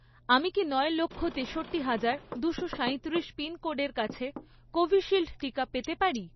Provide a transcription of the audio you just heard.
আমি কি নয় লক্ষ, তেষট্টি হাজার, দুশো সাঁইতিরিশ পিনকোডের কাছে কোভিশিল্ড টিকা পেতে পারি?